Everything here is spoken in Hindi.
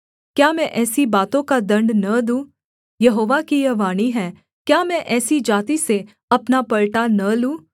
क्या मैं ऐसी बातों का दण्ड न दूँ यहोवा की यह वाणी है क्या मैं ऐसी जाति से अपना पलटा न लूँ